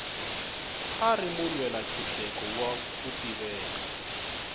a ri mulwela ntshuxeko wa ku tiveka